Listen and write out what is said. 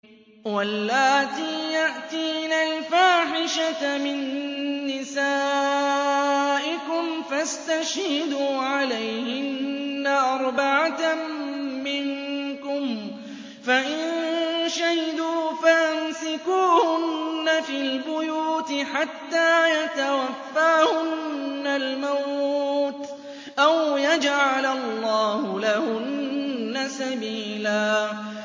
وَاللَّاتِي يَأْتِينَ الْفَاحِشَةَ مِن نِّسَائِكُمْ فَاسْتَشْهِدُوا عَلَيْهِنَّ أَرْبَعَةً مِّنكُمْ ۖ فَإِن شَهِدُوا فَأَمْسِكُوهُنَّ فِي الْبُيُوتِ حَتَّىٰ يَتَوَفَّاهُنَّ الْمَوْتُ أَوْ يَجْعَلَ اللَّهُ لَهُنَّ سَبِيلًا